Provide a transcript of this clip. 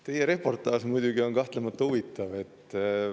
Teie reportaaž on muidugi kahtlemata huvitav.